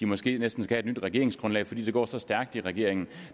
måske skal have et nyt regeringsgrundlag fordi det går så stærkt i regeringen